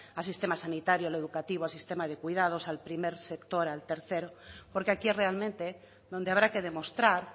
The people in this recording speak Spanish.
al sistema sanitario al educativo al sistema de cuidados al primer sector al tercer porque aquí es realmente donde habrá que demostrar